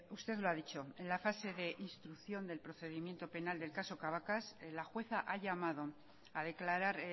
usted lo ha dicho en la fase de instrucción del procedimiento penal del caso cabacas la jueza ha llamado a declarar